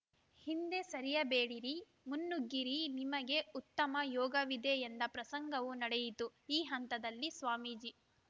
ಹಿಂದೆ ಸರಿಯಬೇಡಿರಿ ಮುನ್ನುಗ್ಗಿರಿ ನಿಮಗೆ ಉತ್ತಮ ಯೋಗವಿದೆ ಎಂದ ಪ್ರಸಂಗವೂ ನಡೆಯಿತು ಈ ಹಂತದಲ್ಲಿ ಸ್ವಾಮೀಜಿ